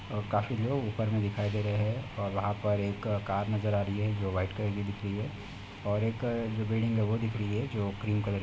और काफी लोग उपर में दिखाई दे रहे हैं और वहाँ पर एक कार नजर आ रही है जो व्हाइट कलर की दिख रही है और एक जो बिल्डिंग है वो दिख रही है जो क्रीम कलर --